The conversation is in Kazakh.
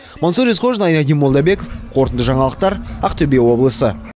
мансұр есқожин айнадин молдабеков қорытынды жаңалықтар ақтөбе облысы